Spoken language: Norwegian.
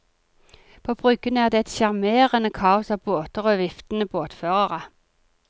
På bryggen er det et sjarmerende kaos av båter og viftende båtførere.